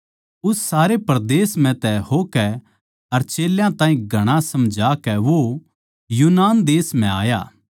उस सारे परदेस म्ह तै होकै अर चेल्यां ताहीं घणा समझाकै वो यूनान देश म्ह आया